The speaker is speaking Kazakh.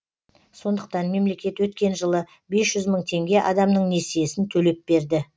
сондықтан мемлекет өткен жылы бес жүз мың теңге адамның несиесін төлеп берді